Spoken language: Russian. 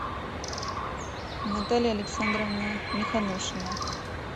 наталья александровна миханошина